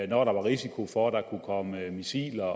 der var risiko for at der kunne komme missiler